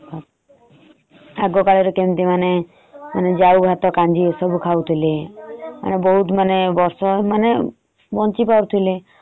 ଆଗ କାଳରେ କେମତି ମାନେ ମାନେ ଯାଉ ଭାତ କାଞ୍ଜି ଏସବୁ ଖାଉଥିଲେ। ବହୁତ ମାନେ ବର୍ଷ ମାନେ ବଞ୍ଚି ପାରୁଥିଲେ ।